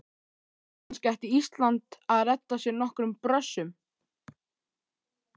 Kannski ætti Ísland að redda sér nokkrum Brössum?